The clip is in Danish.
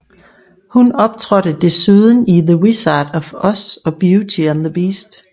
Hun optrådte desuden i The Wizard of Oz og Beauty and the Beast